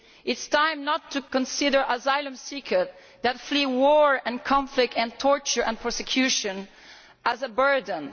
It is time to stop considering asylum seekers that flee war and conflict and torture and persecution as a burden.